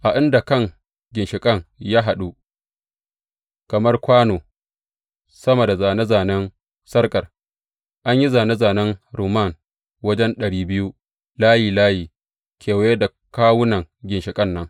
A inda kan ginshiƙin ya buɗu kamar kwano, sama da zāne zānen sarƙar, an yi zāne zānen rumman wajen ɗari biyu, layi layi kewaye da kawunan ginshiƙan nan.